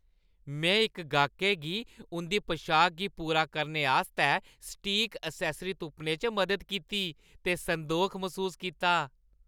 में इक गाह्कै गी उंʼदी पशाका गी पूरा करने आस्तै सटीक एक्सैस्सरी तुप्पने च मदद कीती, ते संदोख मसूस कीता।